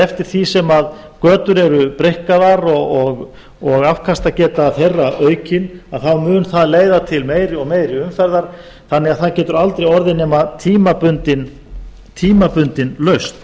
eftir því sem götur er breikkaðar og afkastageta þeirra aukin að þá mun það leiða til meiri og meiri umferðar þannig að það getur aldrei orðið nema tímabundin lausn